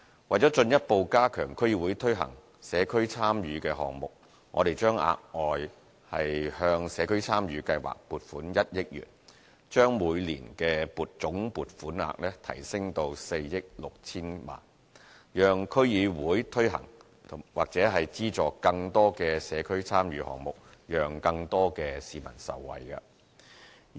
為進一步加強區議會推行社區參與項目，我們將額外向社區參與計劃撥款1億元，把每年的總撥款額提升至4億 6,000 多萬元，讓區議會推行或資助更多社區參與項目，讓更多市民受惠。